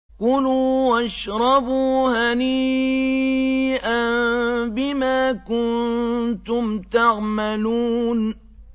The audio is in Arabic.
كُلُوا وَاشْرَبُوا هَنِيئًا بِمَا كُنتُمْ تَعْمَلُونَ